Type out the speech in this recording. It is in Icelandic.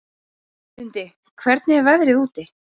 Lundi, hvernig er veðrið úti?